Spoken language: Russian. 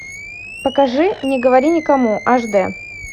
покажи не говори никому аш д